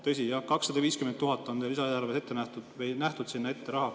Tõsi jah, 250 000 on lisaeelarves sinna ette nähtud.